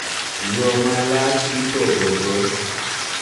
Yo ma loch ipogogo,